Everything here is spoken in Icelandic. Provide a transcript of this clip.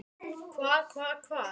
Hvað. hvað. hvar.